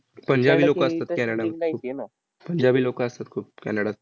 पंजाबी लोकं असतात कॅनडात खूप, पंजाबी लोकं असतात खूप कॅनडात.